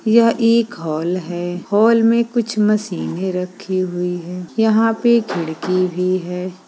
यह एक हॉल है हॉल में कुछ मशीनें रखी हुई है यहाँ पे खिड़की भी है।